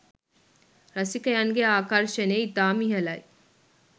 රසිකයන්ගේ ආකර්ෂණය ඉතාම ඉහළයි